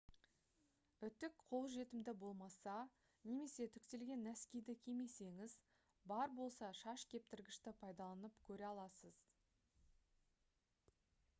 үтік қолжетімді болмаса немесе үтіктелген нәскиді кимесеңіз бар болса шаш кептіргішті пайдаланып көре аласыз